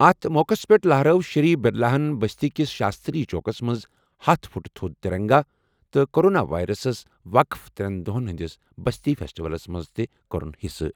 اَتھ موقعَس پٮ۪ٹھ لَہرٲو شری برلاہن بستی کِس شاستری چوکَس منٛز ہتھَ فٹ تھوٚد ترنگا تہٕ کورونا ویٚرَسَس وقف ترٛٮ۪ن دۄہَن ہِنٛدِس بستی فیسٹیولَس منٛز تہِ کٔرٕن حصہٕ۔